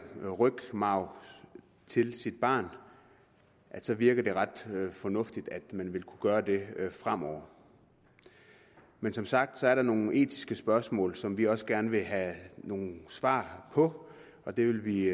knoglemarv til sit barn virker det ret til fornuftigt at man vil kunne gøre det fremover men som sagt er der nogle etiske spørgsmål som vi også gerne vil have nogle svar på og det vil vi